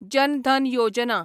जन धन योजना